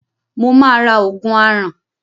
Mo máa ra òògùn aràn.